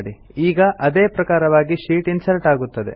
ಈಗ ಅದೇ ಪ್ರಕಾರವಾಗಿ ಶೀಟ್ ಇನ್ಸರ್ಟ್ ಆಗುತ್ತದೆ